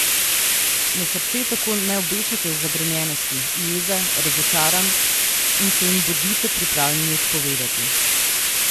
Na srce tako ne obešajte zagrenjenosti, jeze, razočaranj in se jim bodite pripravljeni odpovedati.